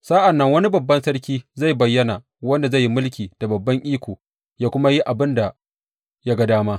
Sa’an nan wani babban sarki zai bayyana, wanda zai yi mulki da babban iko yă kuma yi abin da ya ga dama.